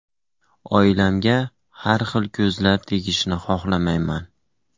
Oilamga har xil ko‘zlar tegishini xohlamayman.